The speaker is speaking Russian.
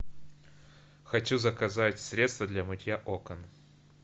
хочу заказать средство для мытья окон